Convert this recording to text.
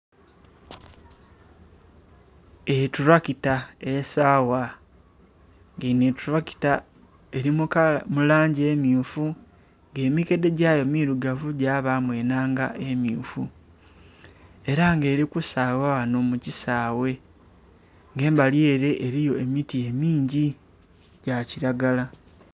Etulakita esaawa, nga eno etulakita eri mu langi emmyufu nga emikedhe gyayo mirugavu gyabamu enhanga emmyufu. Era nga eri kusaawa wano mu kisaawe nga embali ere eriyo emiti emingi, gya kiragala.